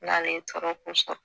N'ale ye tɔɔrɔko sɔrɔ